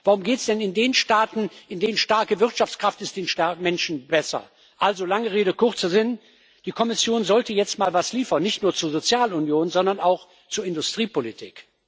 Warum geht es denn in den Staaten mit starker Wirtschaftskraft den Menschen besser? Also, langer Rede kurzer Sinn Die Kommission sollte jetzt mal was liefern, nicht nur zur Sozialunion, sondern auch zur Industriepolitik.